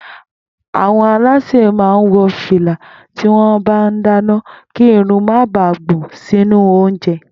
Àwo̩n alásè máa ń wo̩ fìlà tí wó̩n bá ń dáná kí irun má baà gbò̩n sínú oúnje̩